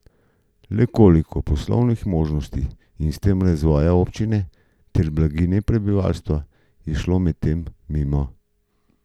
Le koliko poslovnih možnosti in s tem razvoja občine ter blaginje prebivalstva je šlo medtem mimo?